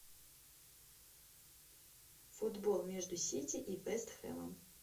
футбол между сити и вест хэмом